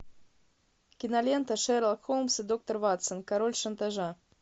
кинолента шерлок холмс и доктор ватсон король шантажа